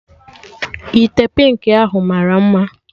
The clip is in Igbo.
Ite pịnki ahụ mara mma